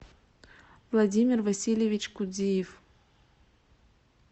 владимир васильевич кудиев